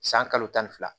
San kalo tan ni fila